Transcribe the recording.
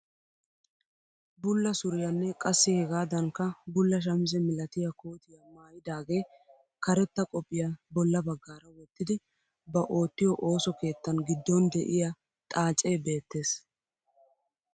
Bulla suriyanne qassi hegaadanikka bulla shamise milatiyaa kootiyaa maayidaage karetta qopphiyaa bolla baggaara wottidi ba oottiyoo ooso keettan giddon de'iyaa xaacee beettees.